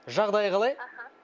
жағдайы қалай аха